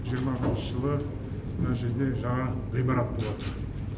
жиырма бірінші жылы мына жерде жаңа ғимарат болады